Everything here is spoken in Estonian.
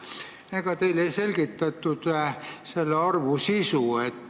Ega teile ei selgitatud selle arvu sisu?